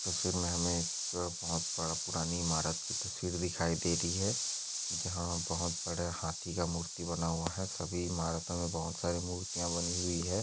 तस्वीर मे हमे एक अ बहुत बड़ा पुरानी ईमारत की तस्वीर दिखाई दे रही है जहा बहुत बड़े हाथी का मूर्ति बना हुआ है सभी इमारतों मे बहुत सारी मुर्तिया बनी हुई है।